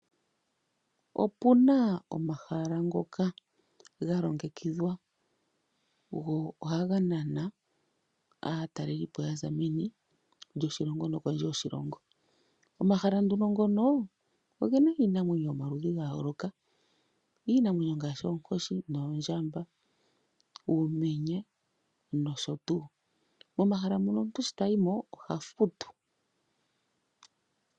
Opuna omahala ngoka galongekithwa go ohaga nana aatalelepo yaza meni lyoshilongo nokondje yoshiongo. Omahala nduno ngono ogena iinamwenyo yomaludhi gayooloka. Iinamwenyo ngaashi oonkoshi noondjamba, uumenye nosho tuu. Omahala muka omuntu shi tayimo oha futu.